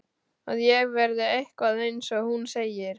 Að ég verði eitthvað, eins og hún segir.